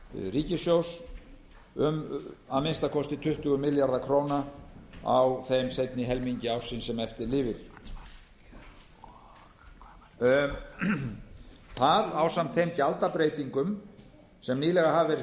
ríkissjóðs um að finna kosti tuttugu milljarða króna á þeim seinni helmingi ársins sem eftir lifir það ásamt þeim gjaldabreytingum sem nýlega hafa verið